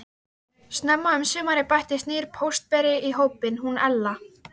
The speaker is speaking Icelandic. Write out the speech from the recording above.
Snemma um sumarið bættist nýr póstberi í hópinn, hún Ella.